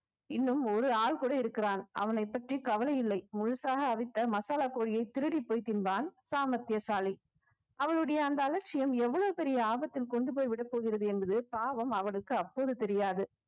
இன்னும் ஒரு ஆள் கூட இருக்கிறான் அவனைப் பற்றி கவலை இல்லை முழுசாக அவித்த மசாலா கோழியை திருடிப்போய் தின்பான் சாமர்த்தியசாலி அவளுடைய அந்த அலட்சியம் எவ்வளவு பெரிய ஆபத்தில் கொண்டு போய் விடப்போகிறது என்பது பாவம் அவனுக்கு அப்போது தெரியாது